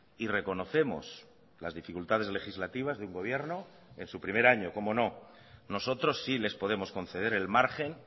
y reconocemos las dificultades legislativas de un gobierno en su primer año cómo no nosotros sí les podemos conceder el margen